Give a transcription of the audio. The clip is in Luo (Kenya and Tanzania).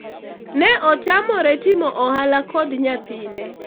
ne otamore timo ohala kod nyathine